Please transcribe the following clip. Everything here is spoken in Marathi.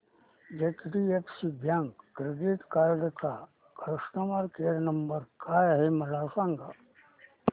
एचडीएफसी बँक क्रेडीट कार्ड चा कस्टमर केयर नंबर काय आहे मला सांगा